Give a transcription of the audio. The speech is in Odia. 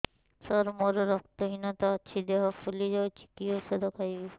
ସାର ମୋର ରକ୍ତ ହିନତା ଅଛି ଦେହ ଫୁଲି ଯାଉଛି କି ଓଷଦ ଖାଇବି